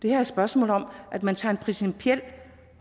er et spørgsmål om at man tager en principiel